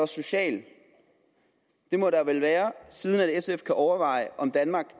sociale der må vel være siden sf kan overveje om danmark